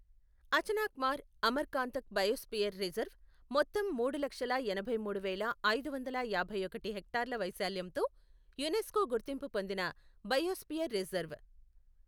Achanakmar Amarkantak biosphere reserve మొత్తం మూడు లక్షల ఎనభైమూడు వేల ఐదు వందల యాభై ఒకటి హెక్టార్ల వైశాల్యంతో యునెస్కో గుర్తింపు పొందిన బయోస్పియర్ రిజర్వ్.